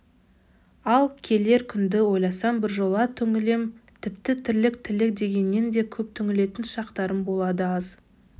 ал келер күнді ойласам біржола түңілем тіпті тірлік тілек дегеннен де көп түңілетін шақтарым болады аз